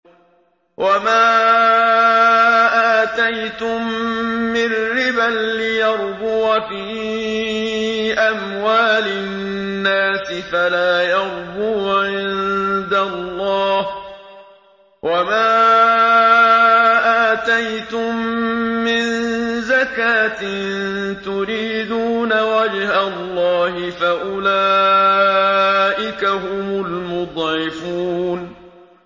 وَمَا آتَيْتُم مِّن رِّبًا لِّيَرْبُوَ فِي أَمْوَالِ النَّاسِ فَلَا يَرْبُو عِندَ اللَّهِ ۖ وَمَا آتَيْتُم مِّن زَكَاةٍ تُرِيدُونَ وَجْهَ اللَّهِ فَأُولَٰئِكَ هُمُ الْمُضْعِفُونَ